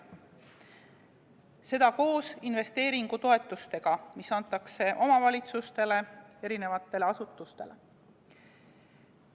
Seda koos investeeringutoetustega, mis antakse omavalitsustele, erinevatele asutustele.